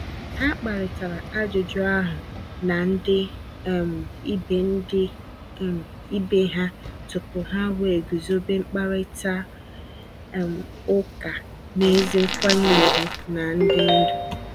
Ha kparịtara ajụjụ ahụ na ndị um ibe ndị um ibe ha tupu ha wee guzobe mkparịta um ụka n’ezi nkwanye ùgwù na ndị ndu.